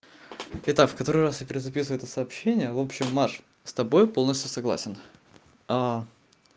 итак в который раз я перезаписываю это сообщение в общем маша с тобой полностью согласен а